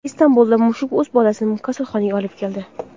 Istanbulda mushuk o‘z bolasini kasalxonaga olib keldi.